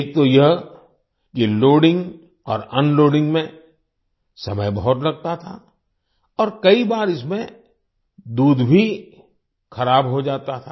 एक तो यह कि लोडिंग और अनलोडिंग में समय बहुत लगता था और कई बार इसमें दूध भी ख़राब हो जाता था